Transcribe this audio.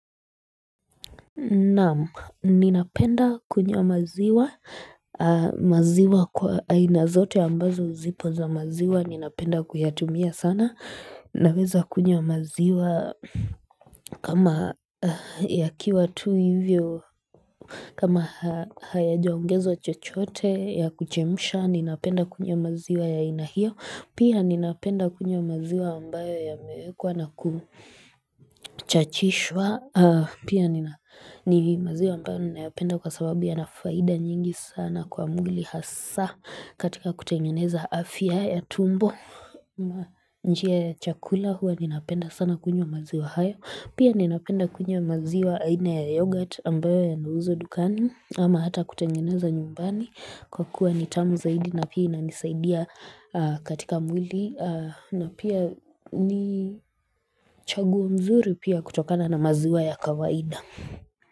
Naam, ninapenda kunywa maziwa, maziwa kwa aina zote ambazo zipo za maziwa, ninapenda kuyatumia sana, naweza kunywa maziwa kama yakiwa tu hivyo, kama hayajaongezwa chochote ya kuchemsha, ninapenda kunywa maziwa ya aina hio, pia ninapenda kunywa maziwa ambayo yamewekwa na kuchachishwa, Pia ni maziwa ambayo ninayapenda kwa sababu yana faida nyingi sana kwa mbili hasa katika kutengeneza afya ya tumbo njia ya chakula huwa ninaapenda sana kunywa maziwa haya Pia ninaapenda kunywa maziwa aina ya yogurt ambayo yanauzwa dukani ama hata kutengeneza nyumbani kwa kuwa ni tamu zaidi na pia inanisaidia katika mbili na pia ni chaguo mzuri pia kutokana na maziwa ya kawaida.